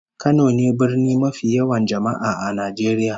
Kano ne birni mafi yawan jama'a a Najeriya